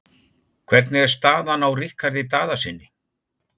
Hvernig er staðan á Ríkharði Daðasyni?